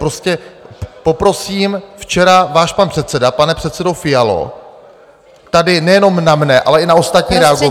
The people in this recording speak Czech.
Prostě poprosím - včera váš pan předseda, pane předsedo Fialo, tady nejenom na mne, ale i na ostatní reagoval...